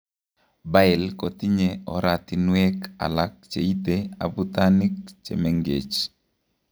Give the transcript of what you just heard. Bile kotinye oratunwek alak cheite abutanik chemeng'ech